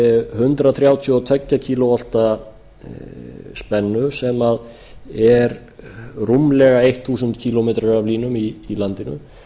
hundrað þrjátíu og tvö kílóvolta spennu sem er rúmlega þúsund kílómetra af línum í landinu